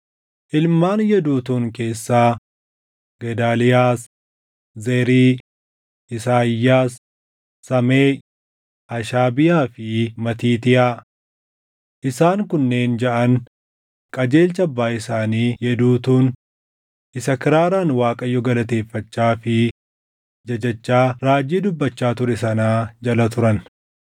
Ilmaan Yeduutuun keessaa: Gedaaliyaas, Zerii, Isaayyaas, Sameeʼi, Hashabiyaa fi Matiitiyaa. Isaan kunneen jaʼan qajeelcha abbaa isaanii Yeduutuun isa kiraaraan Waaqayyo galateeffachaa fi jajachaa raajii dubbachaa ture sanaa jala turan.